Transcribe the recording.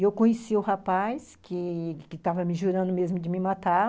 Eu conheci o rapaz, que que estava me jurando mesmo de me matar.